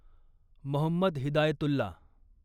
Mohammed Hidayatullah